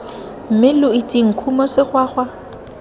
mme lo itseng khumo segwagwa